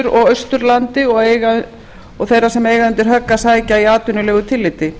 og austurlandi og þeirra sem eiga undir högg að sækja í atvinnulegu tilliti